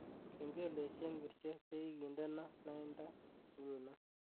Kengeleshek ngircho chegigindeno lainda nguno